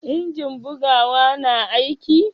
injin bugawa na aiki?